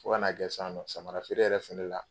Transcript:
Fo kan'a kɛ san nɔ samara feere yɛrɛ fɛnɛ la